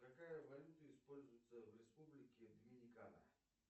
какая валюта используется в республике доминикана